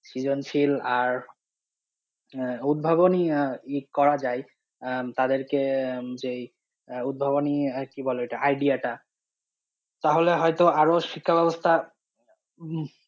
সৃজনশীল আর আহ উদ্ভাবনী আহ করা যায় আহ তাদেরকে আহ যেই আহ উদ্ভাবনী আর কি বলে ওটা idea টা তাহলে হয়তো আরও শিক্ষা ব্যবস্থার উম